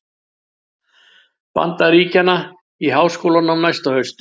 Bandaríkjanna í háskólanám næsta haust.